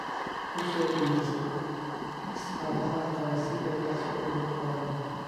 U soo iibso chicks caafimaad qaba si ay dhaqso ugu koraan.